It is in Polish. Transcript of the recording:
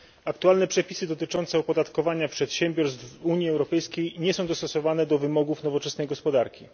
Aktualne przepisy dotyczące opodatkowania przedsiębiorstw w Unii Europejskiej nie są dostosowane do wymogów nowoczesnej gospodarki.